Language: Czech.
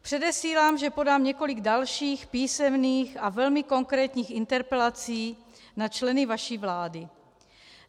Předesílám, že podám několik dalších písemných a velmi konkrétních interpelací na členy vaší vlády.